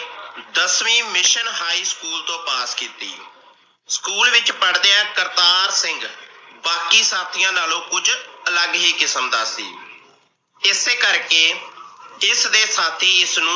ਦਸਵੀਂ mission high school ਤੋਂ pass ਕੀਤੀ। ਸਕੂਲ ਵਿਚ ਪੜ੍ਹਦਿਆਂ ਕਰਤਾਰ ਸਿੰਘ ਬਾਕੀ ਸਾਥੀਆਂ ਨਾਲੋਂ ਕੁਝ ਅਲੱਗ ਹੀ ਕਿਸਮ ਦਾ ਸੀ। ਇਸੇ ਕਰਕੇ ਇਸ ਦੇ ਸ਼ਾਥੀ ਇਸ ਨੂੰ